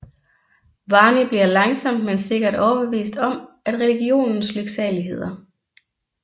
Barny bliver langsomt men sikkert overbevist om religionens lyksaligheder